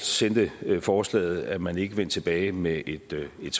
sendte forslaget er man ikke vendt tilbage med et et